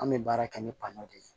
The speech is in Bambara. An bɛ baara kɛ ni de ye